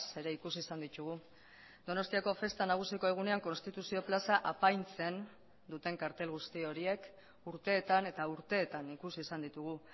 ere ikusi izan ditugu donostiako festa nagusiko egunean konstituzio plaza apaintzen duten kartel guzti horiek urteetan eta urteetan ikusi izan ditugu